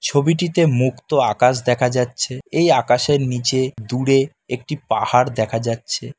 ছবিটিতে মুক্ত আকাশ দেখা যাচ্ছে এই আকাশের নীচে দূরে একটি পাহাড় দেখা যাচ্ছে ।